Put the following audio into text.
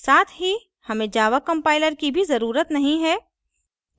साथ ही हमें java compiler की भी जररूत नहीं है